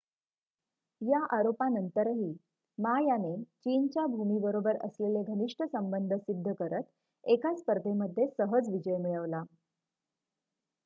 या आरोपांनंतरही मा याने चीनच्या भूमीबरोबर असलेले घनिष्ट संबंध सिद्ध करत एका स्पर्धेमध्ये सहज विजय मिळवला